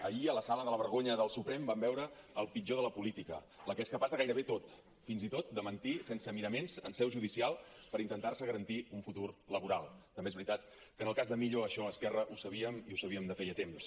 ahir a la sala de la vergonya del suprem vam veure el pitjor de la política la que és capaç de gairebé tot fins i tot de mentir sense miraments en seu judicial per intentar se garantir un futur laboral també és veritat que en el cas de millo això a esquerra ho sabíem i ho sabíem de feia temps